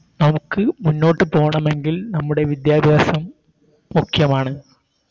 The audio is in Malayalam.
നമുക്ക് മുന്നോട്ട് പോണമെങ്കിൽ നമ്മുടെ വിദ്യാഭ്യാസം മുഖ്യമാണ്